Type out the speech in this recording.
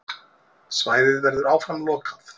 Svæðið verður áfram lokað.